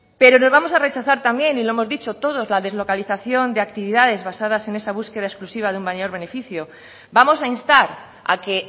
pero nos vamos a rechazar también y lo hemos dicho todos la deslocalización de actividades basadas en esa búsqueda exclusiva de un mayor beneficio vamos a instar a que